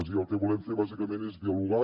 i el que volem fer bàsicament és dialogar